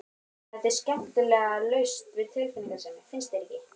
Þetta er skemmtilega laust við tilfinningasemi, finnst þér ekki?